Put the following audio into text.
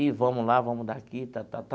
E vamos lá, vamos daqui.